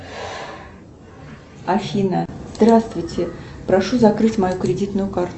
афина здравствуйте прошу закрыть мою кредитную карту